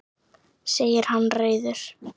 segir hann reiður.